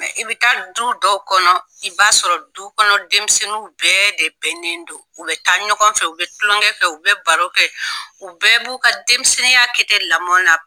I bɛ taa du dɔw kɔnɔ i b'a sɔrɔ du kɔnɔ denmisɛnninw bɛɛ de bɛnnen do u bɛ taa ɲɔgɔn fɛ u bɛ tulonkɛ fɛ u bɛ baro kɛ u bɛɛ b'u ka denmisɛnya kɛ ten lamɔ na.